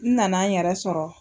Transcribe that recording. N nana n yɛrɛ sɔrɔ.